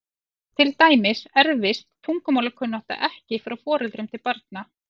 Til dæmis erfist tungumálakunnátta ekki frá foreldrum til barna.